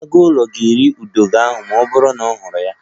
Agụụlọ ga-eri ududo ahụ ma ọ bụrụ na ọ hụrụ ya